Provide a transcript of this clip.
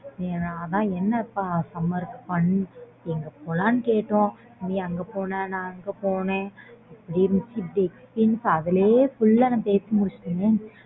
எங்க போலாம்ன்னு கேட்டோம் நீ அங்க போனா நா இங்க போன அதுலயே full நான் பேசி முடிச்சிட்டேனே